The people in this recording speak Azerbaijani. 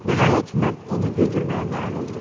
Nəhayət, mən onu güldürməyə nail oldum.